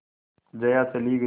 जया चली गई